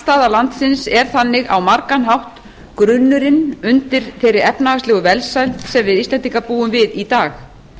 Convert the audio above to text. hnattstaða landsins er þannig á margan hátt grunnurinn undir þeirri efnahagslegu velsæld sem við íslendingar búum við í dag